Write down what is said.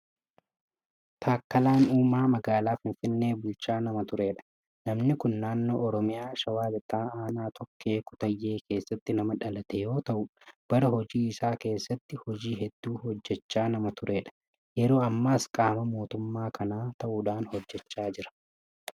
Taakkalaan Uumaa magaalaa Finfinnee bulchaa nama turedha. Namni kun naannoo Oromiyaa shawaa lixaa aanaa tokkee kuttaayee keessatti nama dhalate yoota'u bara hojii isaa keessa hojii hedduu hojjechaa nama turedha. Yeroo ammaas qaama mootummaa kanaa ta'uudhaan hojjechaa jira.